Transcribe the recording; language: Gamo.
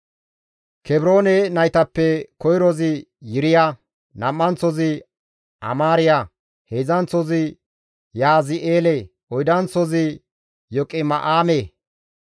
Kebroone naytappe koyrozi Yiriya, nam7anththozi Amaariya, heedzdzanththozi Yahazi7eele, oydanththozi Yoqima7aame.